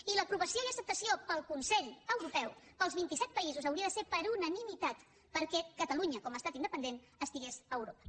i l’aprovació i acceptació pel consell europeu per als vint i set països hauria de ser per unanimitat perquè catalunya com a estat independent estigués a europa